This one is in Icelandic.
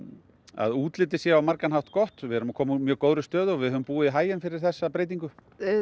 að útlitið sé á margan hátt gott við erum að koma úr mjög góðri stöðu og við höfum búið í haginn fyrir þessa breytingu